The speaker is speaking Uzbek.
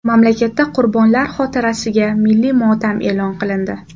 Mamlakatda qurbonlar xotirasiga milliy motam e’lon qilindi .